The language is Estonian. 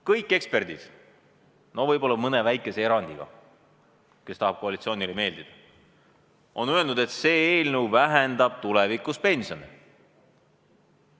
Kõik eksperdid – võib-olla mõne väikese sellise erandiga, kes tahab koalitsioonile meeldida – on öelnud, et see eelnõu vähendab tulevikus pensione.